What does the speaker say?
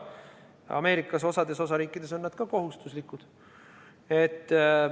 Ameerikas on osades osariikides need kohustuslikud.